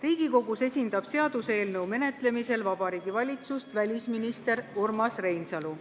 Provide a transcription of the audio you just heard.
Riigikogus esindab seaduseelnõu menetlemisel Vabariigi Valitsust välisminister Urmas Reinsalu.